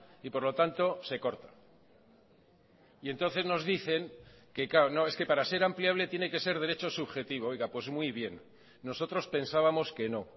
y por lo tanto se corta y entonces nos dicen que claro no es que para ser ampliable tiene que ser derecho subjetivo oiga pues muy bien nosotros pensábamos que no